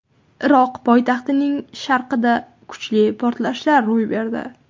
Iroq poytaxtining sharqida kuchli portlashlar ro‘y berdi.